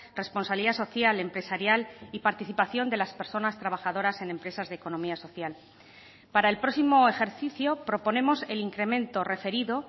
responsabilidad social empresarial y participación de las personas trabajadoras en empresas de economía social para el próximo ejercicio proponemos el incremento referido